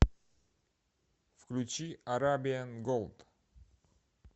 включи арабиан голд